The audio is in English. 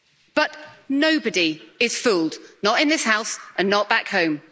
But nobody is fooled not in this House and not back home.